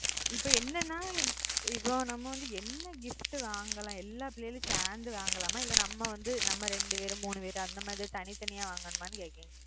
இப்போ என்னனா இப்போ நம்ம வந்து என்ன gift வாங்கலாம் எல்லா பிள்ளைகளும் சேர்ந்து